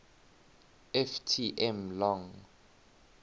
ft m long